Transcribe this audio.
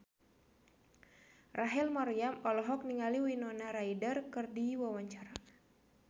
Rachel Maryam olohok ningali Winona Ryder keur diwawancara